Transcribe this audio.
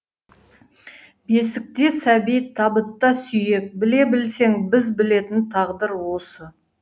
бесікте сәби табытта сүйек біле білсең біз білетін тағдыр осы